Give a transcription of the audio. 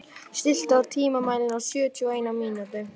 Það stóð, að þið hygðust þvinga þá til að selja